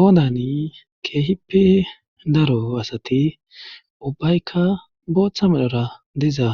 Oodani keehippi daro asati ubbaykka booththa medhora diza